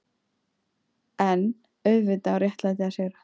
EN auðvitað á réttlætið að sigra.